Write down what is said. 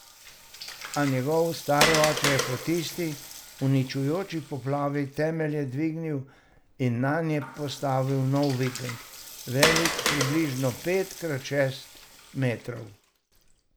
A njegov stari oče je po tisti uničujoči poplavi temelje dvignil in nanje postavil nov vikend, velik približno pet krat šest metrov.